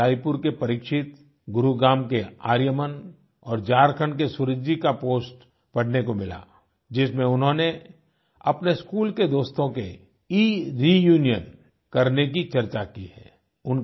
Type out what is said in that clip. वहीँ रायपुर के परीक्षित गुरुग्राम के आर्यमन और झारखण्ड के सूरज जी का पोस्ट पढ़ने को मिला जिसमें उन्होंने अपने स्कूल के दोस्तों के इरियूनियन करने की चर्चा की है